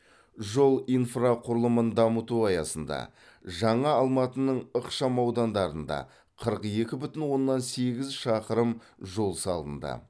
жол инфрақұрылымын дамыту аясында жаңа алматының ықшамаудандарында қырық екі бүтін оннан сегіз шақырым жол салынды